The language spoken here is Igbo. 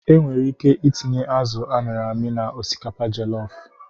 E nwere ike itinye azụ a mịrị amị na osikapa jelofụ.